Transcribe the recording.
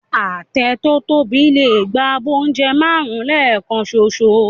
Àtẹ tó tóbi lè gba abọ́ oúnjẹ márùn-ún lẹ́ẹ̀kan ṣoṣo